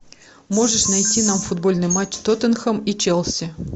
можешь найти нам футбольный матч тоттенхэм и челси